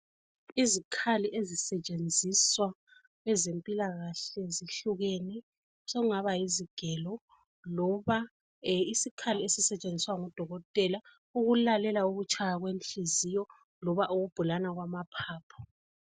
Izikhali ezisetshenziswa kwezempilakahle zihlukene. Sokungaba yizigelo loba isikhali esisetshenziswa ngudokotela ukulalela ukutshaya kwenhliziyo loba ukubhulana kwamaphapho.